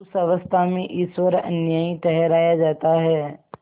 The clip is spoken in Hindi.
उस अवस्था में ईश्वर अन्यायी ठहराया जाता है